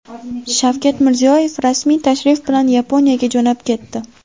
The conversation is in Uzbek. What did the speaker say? Shavkat Mirziyoyev rasmiy tashrif bilan Yaponiyaga jo‘nab ketdi.